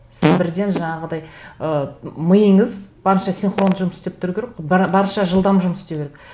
сіз бірден жаңағыдай ы миыңыз барынша синхронды жұмыс істеп тұру керек барынша жылдам жұмыс істеу керек